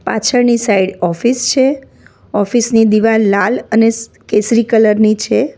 પાછળની side office છે office ની દિવાલ લાલ અને કેસરી કલર ની છે.